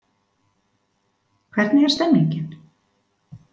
Hvernig er stemningin?